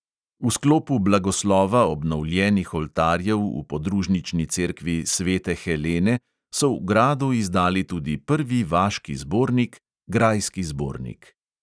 V sklopu blagoslova obnovljenih oltarjev v podružnični cerkvi svete helene so v gradu izdali tudi prvi vaški zbornik – grajski zbornik.